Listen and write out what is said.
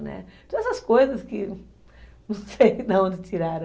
Né, então, essas coisas que, não sei de onde tiraram